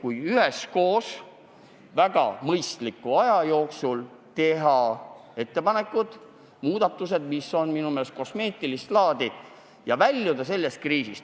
Teeme üheskoos väga mõistliku aja jooksul ettepanekud ja muudatused, mis on minu meelest kosmeetilist laadi, ja väljume sellest kriisist.